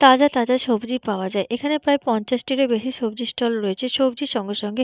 তাজা তাজা সবজি পাওয়া যায়। এখানে প্রায় পঞ্চাশটিরও বেশি সবজি ষ্টল রয়েছে। সবজির সঙ্গে সঙ্গে--